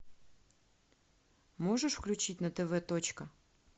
можешь включить на тв точка